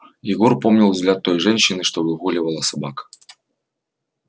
егор помнил взгляд той женщины что выгуливала собак